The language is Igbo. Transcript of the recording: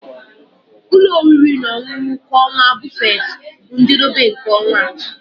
Ụlọ oriri na ọṅụṅụ kwa ọnwa buffet bụ na njedebe nke ọnwa.